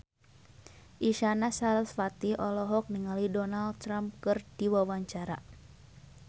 Isyana Sarasvati olohok ningali Donald Trump keur diwawancara